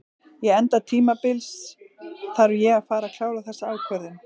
Ég enda tímabils þarf ég að fara að klára þessa ákvörðun.